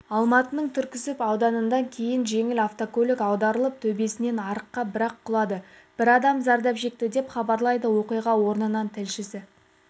алматының түркісіб ауданында кейін жеңіл автокөлік аударылып төбесімен арыққа бірақ құлады бір адам зардап шекті деп хабарлайды оқиға орнынан тілшісі